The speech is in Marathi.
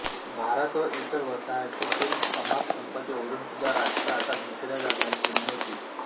भारत व इतर वसाहतींतून अमाप संपत्ती ओढूनसुद्धा राष्ट्र आता भिकेला लागण्याची चिह्ने होती